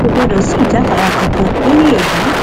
kò gbọdọ sí ìjáfara kankan lórí èyí